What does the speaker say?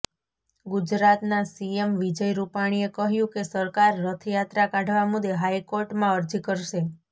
ગુજરાતના સીએમ વિજય રુપાણીએ કહ્યું કે સરકાર રથયાત્રા કાઢવા મુદે હાઈકોર્ટમાં અરજી કરશે